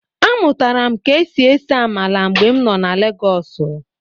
Amụtara m ka e si ese amala mgbe m nọ na Legọsụ.